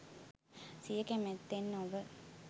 සිය කැමැත්තෙන් නොව